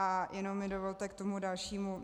A jenom mi dovolte k tomu dalšímu.